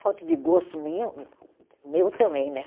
Falta de gosto minha, meu também, né?